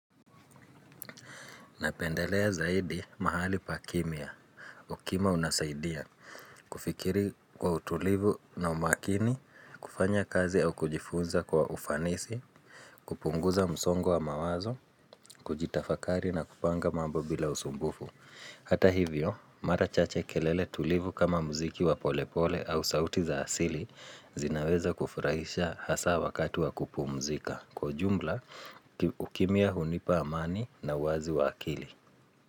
Napendelea zaidi mahali pakimya. Ukima unasaidia kufikiri kwa utulivu na umakini, kufanya kazi au kujifunza kwa ufanisi, kupunguza msongo wa mawazo, kujitafakari na kupanga mambo bila usumbufu. Hata hivyo, mara chache kelele tulivu kama mziki wa polepole au sauti za asili zinaweza kufurahisha hasa wakati wa kupumzika. Kwa ujumla, ukimya hunipa amani na uwazi wa akili.